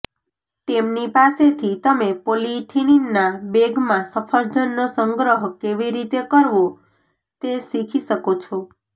તેમની પાસેથી તમે પોલિઇથિલિનના બેગમાં સફરજનનો સંગ્રહ કેવી રીતે કરવો તે શીખી શકો છો